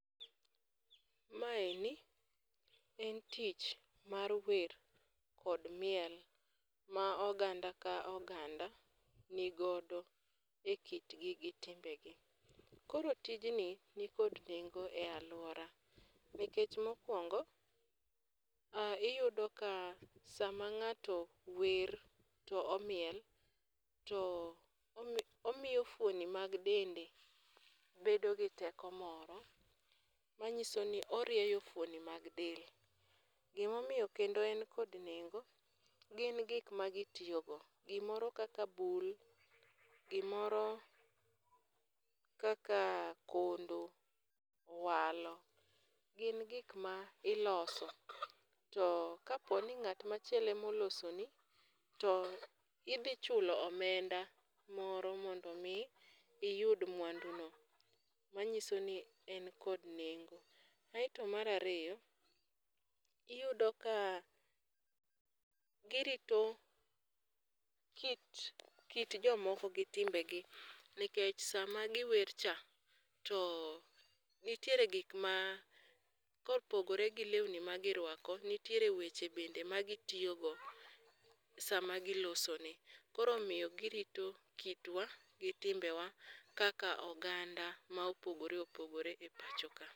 Maeni en tich mar wer kod miel ma oganda ka oganda nigodo e kitgi gi timbegi. Koro tiji nikod nengo e aluorawa nikech mokuongo iyudo ka sama ng'ato wer to omiel omiyo fuoni mag dende bedo gi teko moro, manyiso ni orieyo fuoni mag dende. Gima omiyo kendo en kod nengo, gin gik magitiyo go. Gimoro kaka bul, kondo gimoro kaka owalo, gin gik ma iloso, to kapo ni ng'at machielo ema olosoni to idhi chulo omenda mondo mi iyud mwanduno, manyiso ni en kod nengo. Mar ariyo, iyudo ka girito ki kit jomoko gi timbegi, nikech sama giwer cha, to nitiere gik ma kopogore gi lewni magiruako nitiere weche bende magitiyo go sama gilosoni. Koro omiyo girito kitwa kaka oganda ma opogore opogore e pacho ka.